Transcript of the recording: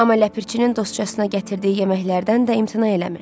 Amma Ləpirçinin dostçasına gətirdiyi yeməklərdən də imtina eləmirdi.